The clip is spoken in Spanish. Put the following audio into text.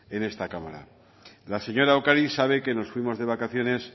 en esta cámara la señora ocariz sabe que nos fuimos de vacaciones